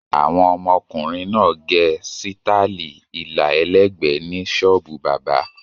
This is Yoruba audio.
Àwọn ọmọkùnrin náà gẹ sítáálì ilà ẹlẹ́gbẹ̀ẹ́ ní ṣọ́ọ́bù bábà.